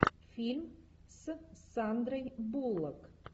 фильм с сандрой буллок